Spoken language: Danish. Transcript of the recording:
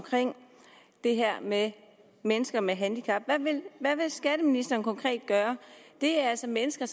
det her med mennesker med handicap hvad vil skatteministeren konkret gøre her det er altså mennesker